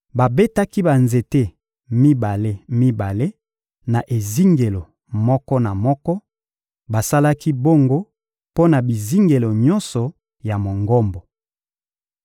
Babetaki banzete mibale-mibale na ezingelo moko na moko; basalaki bongo mpo na bizingelo nyonso ya Mongombo.